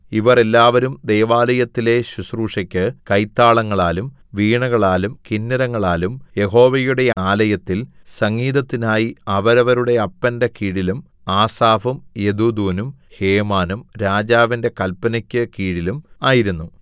ഇവർ എല്ലാവരും ദൈവാലയത്തിലെ ശുശ്രൂഷയ്ക്ക് കൈത്താളങ്ങളാലും വീണകളാലും കിന്നരങ്ങളാലും യഹോവയുടെ ആലയത്തിൽ സംഗീതത്തിനായി അവരവരുടെ അപ്പന്റെ കീഴിലും ആസാഫും യെദൂഥൂനും ഹേമാനും രാജാവിന്റെ കല്പനെക്കു കീഴിലും ആയിരുന്നു